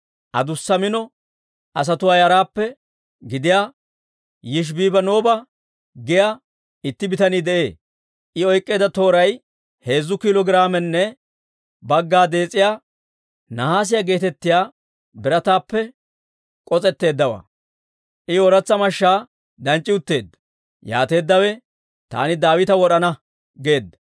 Adussa mino asatuwaa yaraappe gidiyaa Yishibibanooba giyaa itti bitanii de'ee; I oyk'k'eedda tooray heezzu kiilo giraamenne bagga dees'iyaa, nahaasiyaa geetettiyaa birataappe k'os'etteeddawaa; I ooratsa mashshaa danc'c'i utteedda. Yaateeddawe «Taani Daawita wod'ana» geedda;